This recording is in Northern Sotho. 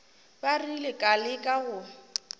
ba rile ka leka go